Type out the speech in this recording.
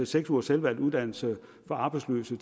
seks ugers selvvalgt uddannelse for arbejdsløse